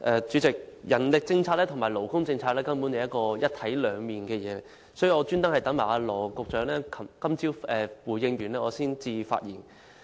主席，人力政策和勞工政策根本就像一體兩面，所以我特意待羅局長今早回應後才發言。